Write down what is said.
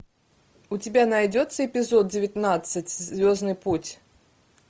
у тебя найдется эпизод девятнадцать звездный путь